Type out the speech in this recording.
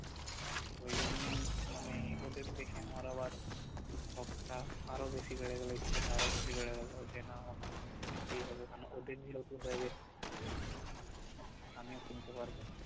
ঐজন্যেই মানে ওদের দেখে আমার আবার শখ টা আরও বেশি বেড়ে গেলো ইচ্ছে টা আরও বেশি বেড়ে গেল যে না আমাকে কিনতেই হবে কারণ ওদের যেহেতু হয়ে গিয়েছে আমিও কিনতে পারব